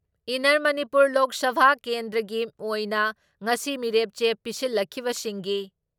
inner Manipur Lok Sabha ꯀꯦꯟꯗ꯭ꯔꯒꯤ ꯑꯣꯏꯅ ꯉꯁꯤ ꯃꯤꯔꯦꯞꯆꯦ ꯄꯤꯁꯤꯜꯂꯛꯈꯤꯕꯁꯤꯡꯒꯤ